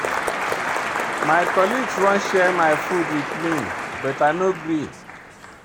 My colleague wan share my food wit me but I no gree.